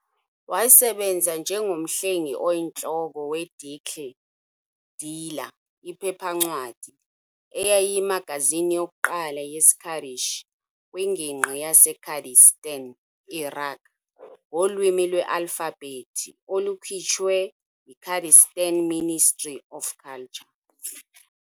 Wasebenza njengomhleli-oyintloko we-Dicle - Dijla, iphephancwadi, eyayiyimagazini yokuqala yesiKurdish - kwingingqi yaseKurdistan - iraq - ngolwimi lwealfabhethi olukhutshwe yi-Kurdistan Ministry of Culture.